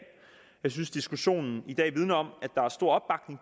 jeg synes diskussionen i dag vidner om at der er stor